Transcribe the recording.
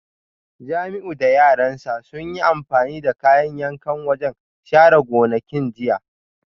Jamiu da yaran sa sun yi amfani da kayan yankan wajen share gonakin jiya